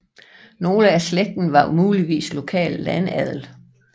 Nogle af slægten var muligvis lokal landadel